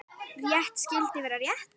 Rétt skyldi vera rétt.